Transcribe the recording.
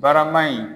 Barama in